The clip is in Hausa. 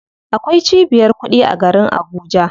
Akwai cibiyar kuɗi a garin Abuja.